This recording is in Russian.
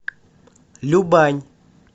любань